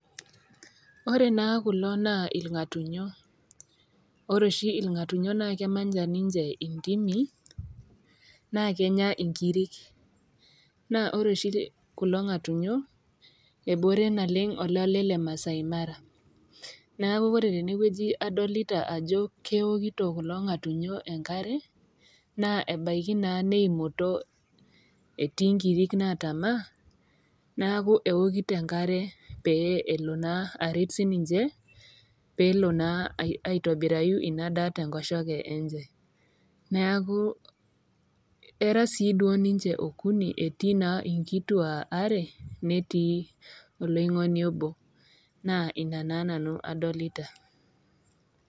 Ore naa kulo naa ilg'atunyo , ore oshi ilg'atunyo naake emanya ninche intimi naakenya ninche inkirik, naa ore oshi kulo ngatunyo ebore naleng' olale le Maasai mara. Neaku ore tene wueji kadolita ajo keokito kulo ngatunyo enkare, naa ebaiki naa neimoto, etii inkirik naatama, neaku eokito enkare pee elo naa aret sii ninche, peelo naa aitobirayu Ina daa te enkoshoke enye, neaku era sii duo ninche okuni, etii naa inkituak are, netii oloingoni obo, naa Ina naa nanu adolita.